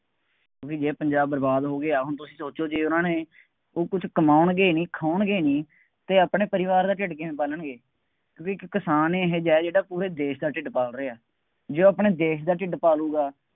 ਬਈ ਜੇ ਪੰਜਾਬ ਬਰਬਾਦ ਹੋ ਗਿਆ, ਹੁਣ ਤੁਸੀਂ ਸੋਚੋ ਜੇ ਉਹਨਾ ਨੇ ਉਹ ਕੁੱਝ ਕਮਾਉਣਗੇ ਨਹੀਂ, ਖਵਾਉਣਗੇ ਨਹੀਂ, ਅਤੇ ਆਪਣੇ ਪਰਿਵਾਰ ਦਾ ਢਿੱਡ ਕਿਵੇਂ ਪਾਲਣਗੇ, ਇੱਕ ਕਿਸਾਨ ਇਹੋ ਜਿਹਾ ਜਿਹੜਾ ਪੂਰੇ ਦੇਸ਼ ਦਾ ਢਿੱਡ ਪਾਲ ਰਿਹਾ, ਜੇ ਉਹ ਆਪਣੇ ਦੇਸ਼ ਦਾ ਢਿੱਡ ਪਾਲੂਗਾ,